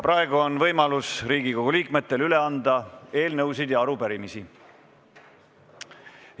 Praegu on Riigikogu liikmetel võimalus üle anda eelnõusid ja arupärimisi.